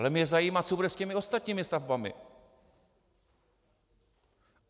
Ale mě zajímá, co bude s těmi ostatními stavbami.